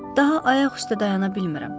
Daha ayaq üstə dayana bilmirəm.